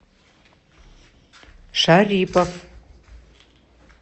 шарипов